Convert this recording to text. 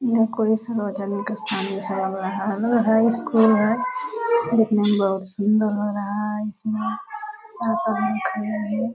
ये कोई सार्वजनिक स्थान जैसा लग रहा है लग रहा है स्कुल है देखने में बहुत सुन्दर लग रहा है इसमें सात आदमी खड़े हैं ।